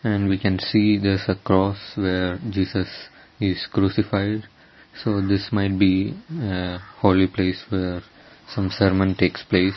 and we can see there is a cross where jesus is crucified so this might be a holy place where some ceremony takes place.